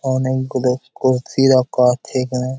অনেক গুলো কলসি রাখা আছে এখানে।